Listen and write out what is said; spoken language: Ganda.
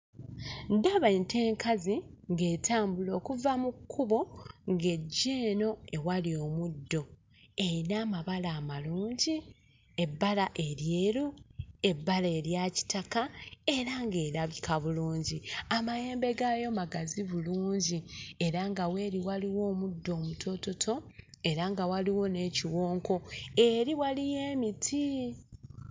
Ndaba ente enkazi ng'etambula okuva mu kkubo ng'ejja eno ewali omuddo eyina amabala amalungi ebbala eryeru, ebbala erya kitaka era ng'erabika bulungi amayembe gaayo magazi bulungi era nga weeri waliwo omuddo omutoototo era nga waliwo n'ekiwonko eri waliyo emiti.